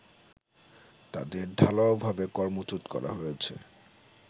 তাদের ঢালাওভাবে কর্মচ্যুত করা হয়েছে